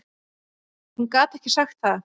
Hún gat ekki sagt það.